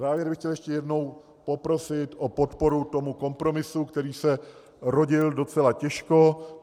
Závěrem bych chtěl ještě jednou poprosit o podporu tomu kompromisu, který se rodil docela těžko.